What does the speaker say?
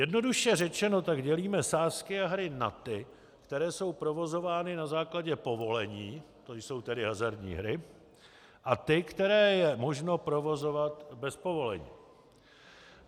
Jednoduše řečeno tak dělíme sázky a hry na ty, které jsou provozovány na základě povolení, to jsou tedy hazardní hry, a ty, které je možno provozovat bez povolení.